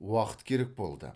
уақыт керек болды